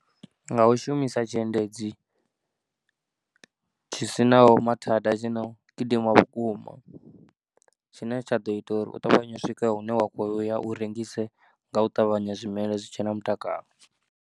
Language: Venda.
Nga u shumisa tshiendedzi tshi sinaho mathada tshino gidima vhukuma tshine tsha ḓo ita uri u ṱavhanye u swika hune wa khou ya u rengise nga u ṱavhanya zwimela zwi tshe na mutakalo.